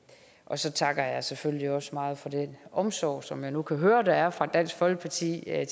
så takker jeg selvfølgelig også meget for den omsorg som jeg nu kan høre at der er fra dansk folkepartis side